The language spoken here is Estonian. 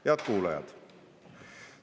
Head kuulajad!